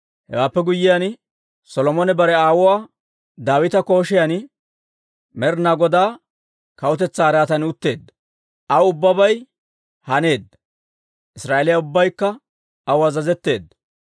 Hewaappe guyyiyaan, Solomone bare aawuwaa Daawita koshiyan Med'inaa Godaa kawutetsaa araatan utteedda. Aw ubbabay haneedda; Israa'eeliyaa ubbaykka aw azazetteedda.